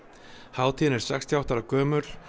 hátíðin er sextíu og átta ára gömul